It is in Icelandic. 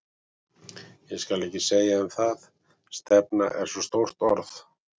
Ég skal ekki segja um það, stefna er svo stórt orð.